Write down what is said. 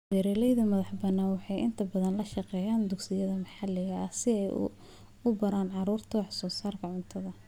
Beeralayda madaxa bannaan waxay inta badan la shaqeeyaan dugsiyada maxalliga ah si ay u baraan carruurta wax soo saarka cuntada.